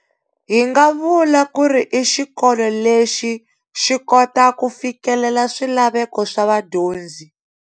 Hi nga vula kuri i xikolo lexi xi kota ku fikelela swilaveko swa vadyonzi.